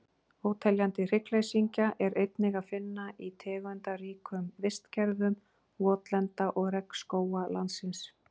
Óteljandi hryggleysingja er einnig að finna í tegundaríkum vistkerfum votlenda og regnskóga landsins.